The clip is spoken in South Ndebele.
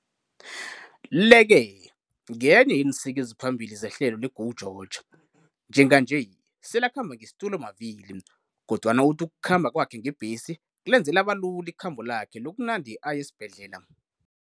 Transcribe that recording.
Le-ke ngenye yeensika eziphambili zehlelo le-GO GEORGE. Njenganje selakhamba ngesitulomavili, kodwana uthi ukukhamba kwakhe ngebhesi kulenze labalula ikhambo lakhe lokunande aya esibhedlela.